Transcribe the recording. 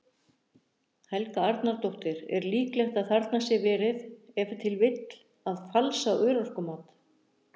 Helga Arnardóttir: Er líklegt að þarna sé verið, ef til vill, að falsa örorkumat?